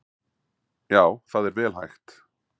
Já, það er vel hægt!